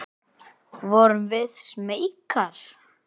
Vorum við smeykar?